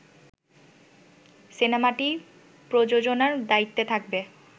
সিনেমাটি প্রযোজনার দায়িত্বে থাকবে